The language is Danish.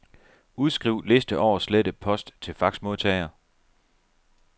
Udskriv liste over slettet post til faxmodtager.